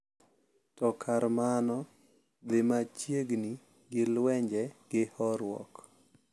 To kar mano, dhi machiegni gi lwenje gi horuok .